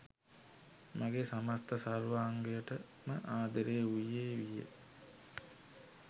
මගේ සමස්ත සර්වාංගයට ම ආදරේ වූයේ විය